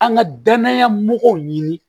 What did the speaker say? An ka danaya mɔgɔw ɲini